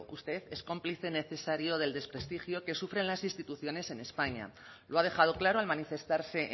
usted es cómplice necesario del desprestigio que sufren las instituciones en españa lo ha dejado claro al manifestarse